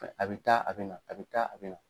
A bɛ taa a bɛ na a bɛ taa a bɛ na.